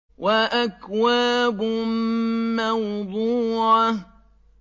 وَأَكْوَابٌ مَّوْضُوعَةٌ